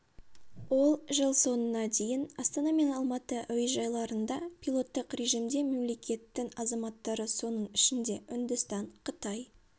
ол жыл соңына дейін астана мен алматы әуежайларында пилоттық режимде мемлекеттің азаматтары соның ішінде үндістан қытай